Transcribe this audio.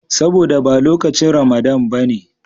Saboda ba lokacin Ramadana ba ne.